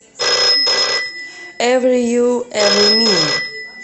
эври ю эври ми